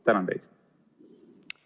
Tänan teid!